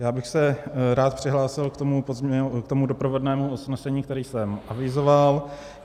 Já bych se rád přihlásil k tomu doprovodnému usnesení, které je avizoval.